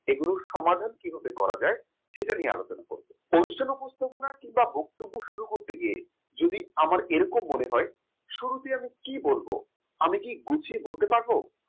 এগুলো সমাধান কিভাবে করা যায় সেটা নিয়ে আলোচনা করব পরিচালনা উপস্থাপনায় কিংবা বক্তব্য শুরু করতে গিয়ে যদি আমার এরকম মনে হয় শুরুতেই আমি কি বলবো আমি কি গুছিয়ে বলতে পারব